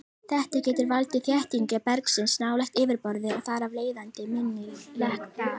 Þetta getur valdið þéttingu bergsins nálægt yfirborði og þar af leiðandi minni lekt þar.